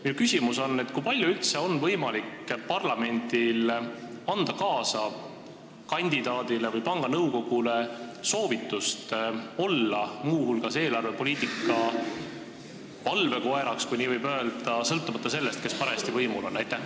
Minu küsimus on: kui palju on üldse võimalik parlamendil anda kandidaadile või panga nõukogule kaasa soovitust olla muu hulgas eelarvepoliitika valvekoer, kui nii võib öelda, sõltumata sellest, kes parajasti võimul on?